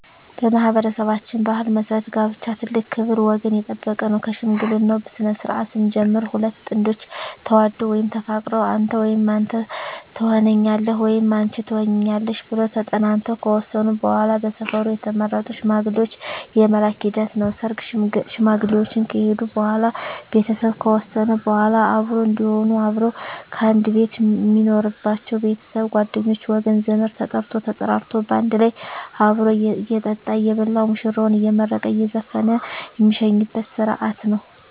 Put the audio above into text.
በማኅበረሠባችን ባሕል መሠረት ጋብቻ ትልቅ ክብር ወገን የጠበቀ ነው ከሽምግልናው ስነስርዓት ስንጀምር ሁለት ጥንዶች ተዋደው ወይም ተፋቅረው አንተ ወይም አንተ ተሆነኛለህ ወይም አንች ትሆኝኛለሽ ብለው ተጠናንተው ከወሰኑ በዋላ በሰፈሩ የተመረጡ ሽማግሌዎች የመላክ ሂደት ነው ሰርግ ሽማግሌዎች ከሄዱ በዋላ ቤተሰብ ከወሰነ በዋላ አብሮ እዴሆኑ አብረው ከአንድ ቤት ሜኖሩበች ቤተሰብ ጓደኞቼ ወገን ዘመድ ተጠርቶ ተጠራርቶ ባንድ ላይ አብሮ እየጠጣ እየበላ ሙሽራዎችን አየመረቀ እየዘፈነ ሜሸኝበት ስረሀት ነው